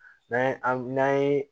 N'an ye n'an ye